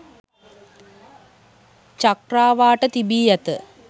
චක්‍රාවාට තිබී ඇත